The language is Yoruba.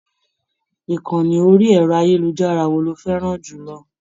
Ìkànni orí ẹ̀rọ-ayélujára wo ló fẹ́ràn jù lọ?